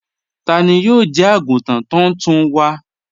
Tani yóò jẹ́ àgùntàn tóntún wa?